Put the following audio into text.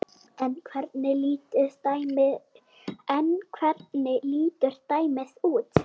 En hvernig lítur dæmið út?